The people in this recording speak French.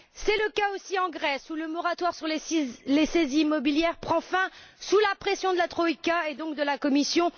C'est le cas aussi en Grèce, où le moratoire sur les saisies immobilières prend fin sous la pression de la troïka et donc de la Commission.